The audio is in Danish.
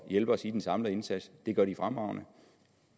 hjælpe os i den samlede indsats det gør de fremragende